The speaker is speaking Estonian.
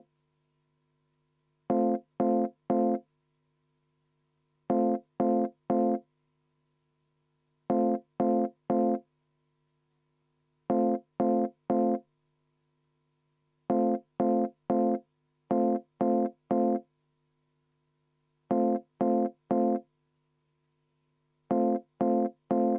Tõsi, EKRE fraktsioon on teinud ettepaneku teine lugemine katkestada ja palun enne seda hääletust teha ka kümneminutiline vaheaeg.